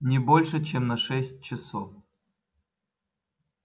не больше чем на шесть часов